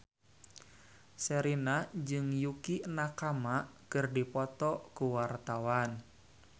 Sherina jeung Yukie Nakama keur dipoto ku wartawan